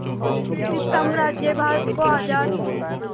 British साम्राज्य भारत को आज़ाद